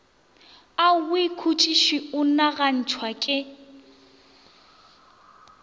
aowi khutšiši o nagantšhwa ke